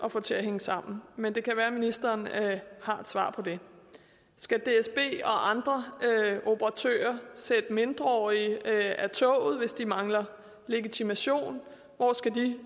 at få til at hænge sammen men det kan være ministeren har et svar på det skal dsb og andre operatører sætte mindreårige af toget hvis de mangler legitimation hvor skal de